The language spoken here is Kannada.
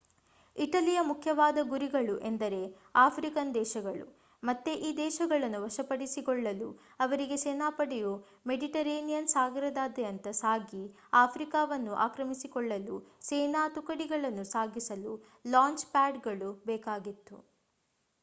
ಇಟಲಿಯ ಮುಖ್ಯವಾದ ಗುರಿಗಳು ಎಂದರೆ ಆಫ್ರಿಕನ್ ದೇಶಗಳು ಮತ್ತೆ ಈ ದೇಶಗಳನ್ನು ವಶಪಡಿಸಿಕೊಳ್ಳಲು ಅವರಿಗೆ ಸೇನಾಪಡೆಯು ಮೆಡಿಟರೇನಿಯನ್ ಸಾಗರದಾದ್ಯಂತ ಸಾಗಿ ಆಫ್ರಿಕಾವನ್ನು ಆಕ್ರಮಿಸಿಕೊಳ್ಳಲು ಸೇನಾ ತುಕಡಿಗಳನ್ನು ಸಾಗಿಸಲು ಲಾಂಚ್ ಪ್ಯಾಡ್ಗಳು ಬೇಕಾಗಿತ್ತು